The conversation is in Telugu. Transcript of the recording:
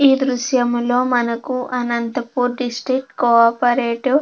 ఈ దృశ్యములో మనకు అనంతపూర్ డిస్ట్రిక్ట్ కో ఆపరేటివ్ --